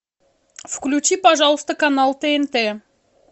включи пожалуйста канал тнт